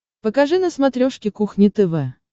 покажи на смотрешке кухня тв